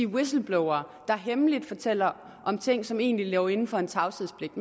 whistleblower der hemmeligt fortæller om ting som egentlig lå inden for en tavshedspligt